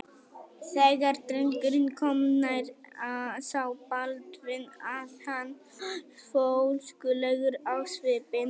Þegar drengurinn kom nær sá Baldvin að hann var fólskulegur á svipinn.